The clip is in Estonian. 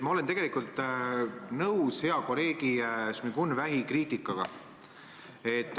Ma olen tegelikult nõus hea kolleegi Šmigun-Vähi kriitikaga.